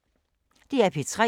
DR P3